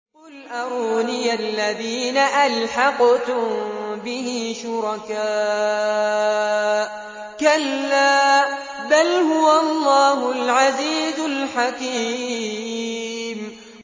قُلْ أَرُونِيَ الَّذِينَ أَلْحَقْتُم بِهِ شُرَكَاءَ ۖ كَلَّا ۚ بَلْ هُوَ اللَّهُ الْعَزِيزُ الْحَكِيمُ